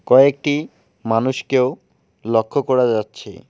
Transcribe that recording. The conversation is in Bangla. কয়েকটি মানুষকেও লক্ষ করা যাচ্ছে।